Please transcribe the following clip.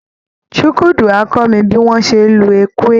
Chukwudi á kọ́ mi bí wọ́n ṣe ń lu Ekwe